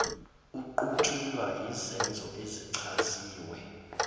aqutshulwa yizenzo ezichaziwe